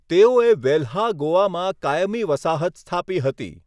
તેઓએ વેલ્હા ગોવામાં કાયમી વસાહત સ્થાપી હતી.